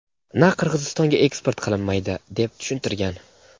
na Qirg‘izistonga eksport qilinmaydi deb tushuntirgan.